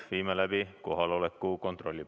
Viime läbi kohaloleku kontrolli.